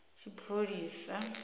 tshipholisa